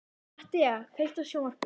Mattea, kveiktu á sjónvarpinu.